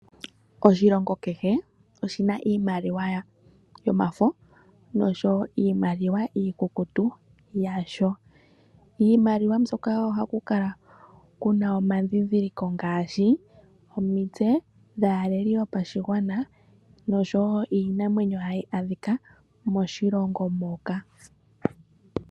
Oshilongo kehe oshina iimaliwa yomafo osho wo iimaliwa iikukutu yasho. Iimaliwa mbyoka ohaku kala kuna omadhidhiliko ngashi omitse dhaaleli yopashigwana nosho wo iinamwenyo hayi adhika moshilongo moka.